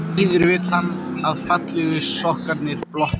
Því síður vill hann að fallegu sokkarnir blotni.